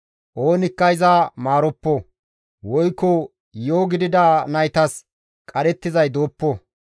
Oonikka iza maaroppo; woykko yi7o gidida naytas qadhettizay dooppo!